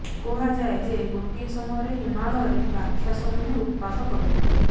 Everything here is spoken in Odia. କୁହାଯାଏ ଯେ ଗୋଟିଏ ସମୟରେ ହିମାଳୟରେ ରାକ୍ଷସମାନେ ଉତପାତ କରୁଥିଲେ